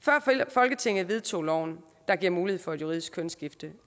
før folketinget vedtog loven der giver mulighed for et juridisk kønsskifte